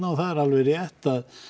og það er alveg rétt